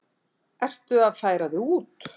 Ertu að færa þig út?